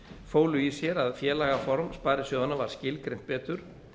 fólu í sér að félagaform sparisjóðanna var skilgreint betur